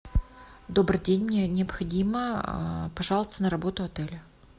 добрый день мне необходимо пожаловаться на работу отеля